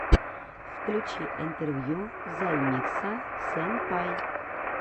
включи интервью займикса сэнпай